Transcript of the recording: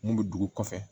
Mun bɛ dugu kɔfɛ